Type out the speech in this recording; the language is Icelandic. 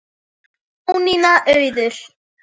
Jónína Auður.